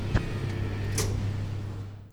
включай брич ка